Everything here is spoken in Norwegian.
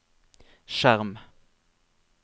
skjerm